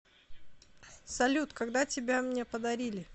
салют когда тебя мне подарили